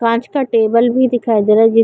कांच का टेबल भी दिखाई दे रहा हैं जी--